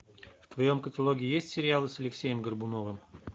в твоем каталоге есть сериалы с алексеем горбуновым